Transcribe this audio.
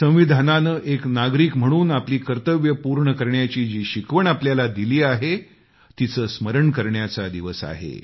संविधानानं एक नागरिक म्हणून आपली कर्तव्ये पूर्ण करण्याची जी शिकवण आपल्याला दिली आहे तिचे स्मरण करण्याचा दिवस आहे